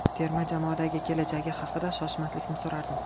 Terma jamoadagi kelajagi haqida Shoshmaslikni so‘rardim.